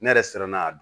Ne yɛrɛ siranna n'a don